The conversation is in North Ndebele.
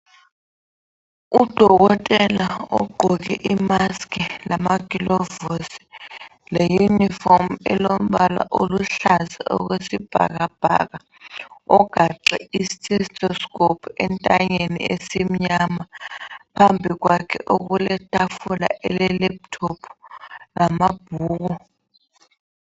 Udokotela ogqoke imask lamagilovisi leyunifomu elombala oluhlaza okwesibhakabhaka ugaxe sensorscope entanyeni esimnyama phambili kwakhe okuletafula elelaptop lamabhuku.